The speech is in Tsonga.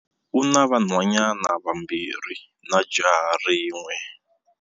U na vanhwanyana vambirhi na jaha rin'we.